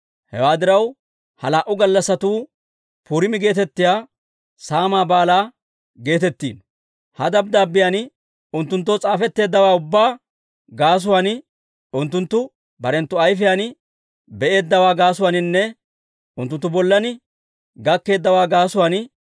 Hewaa diraw, ha laa"u gallassatuu Puriima geetettiyaa saamaa Baalaa geetettiino. Ha dabddaabbiyaan unttunttoo s'aafetteeddawaa ubbaa gaasuwaan, unttunttu barenttu ayfiyaan be'eeddawaa gaasuwaaninne unttunttu bollan gakkeeddawaa gaasuwaan